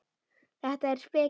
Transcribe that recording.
Þetta er speki.